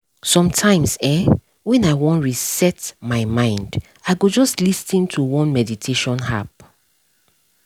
sometimes[um]when i wan reset my mind i go just lis ten to one meditation app